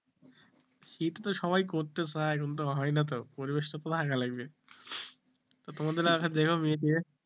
শীত তো সবাই করতে চায় কিন্তু হয় না তো পরিবেশ তো লাগবে, তোমাদের এলাকায় দেখো মেয়ে টেয়ে